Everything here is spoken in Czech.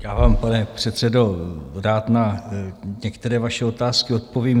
Já vám, pane předsedo, rád na některé vaše otázky odpovím.